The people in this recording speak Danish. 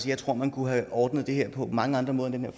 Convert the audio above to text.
jeg tror man kunne have ordnet det her på mange andre måder end med